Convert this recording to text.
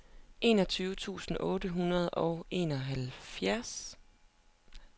enogtyve tusind otte hundrede og enoghalvfjerds